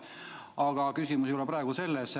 Aga küsimus ei ole praegu selles.